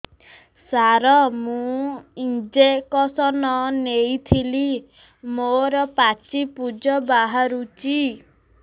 ସାର ମୁଁ ଇଂଜେକସନ ନେଇଥିଲି ମୋରୋ ପାଚି ପୂଜ ବାହାରୁଚି